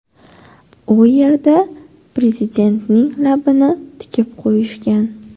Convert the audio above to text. U yerda prezidentning labini tikib qo‘yishgan.